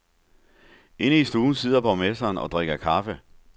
Inde i stuen sidder borgmesteren og drikker kaffe.